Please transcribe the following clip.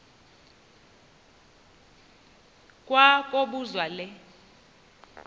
kwa kobuzwa le